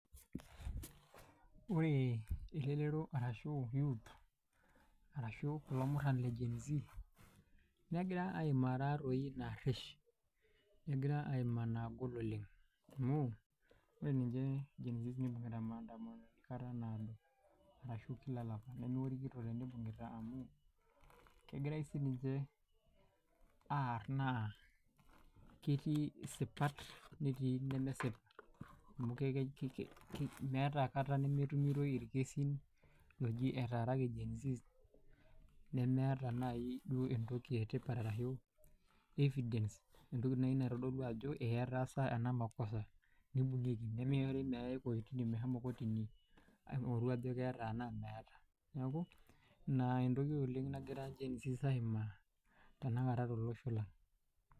Wore elelero arashu youth, arashu kulo murran le gen-z, nekira aimaa taatoi inaarish, nekira aimaa inaagol oleng'. Amu, wore ninche gen-z nibungita maandamano kata naado, arashu kila olapa. Nemeotikito tenibungita amuu, kekirai sininche aar naa ketii isipat netii inemesipa. Amu meeta kata memetumitoi irkesin ooji etaaraki gen-z. Nemeeta naai duo entoki etipat arashu evidence entoki naai naitodolu ajo ee etaasa ena makosa nibungieki. Nemishori meewai kotini meshomo kotini aingorru ajo keeta enaa meeta. Neeku ina entoki oleng' nakira gen-z aimaa tenakata tolosho lang.